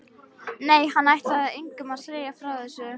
Nei, hann ætlaði engum að segja frá þessu.